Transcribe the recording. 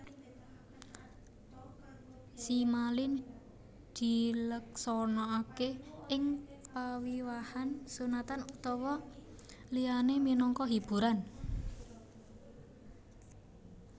Simalin dileksanakaké ing pawiwahan sunatan utawa liyané minangka hiburan